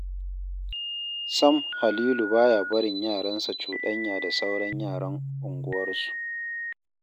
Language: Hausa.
Sam Halilu ba ya barin yaransa cuɗanya da sauran yaran unguwarsu.